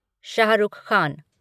Shah Rukh Khan